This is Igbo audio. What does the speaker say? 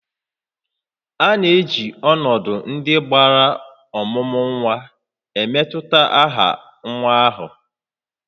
A na-eji ọnọdụ ndị gbara ọmụmụ nwa emetụta aha nwa ahụ